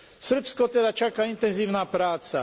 Srbsko teda čaká intenzívna práca.